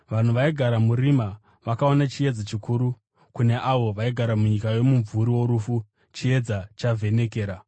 vanhu vaigara murima vakaona chiedza chikuru; kune avo vaigara munyika yomumvuri worufu, chiedza chavhenekera.”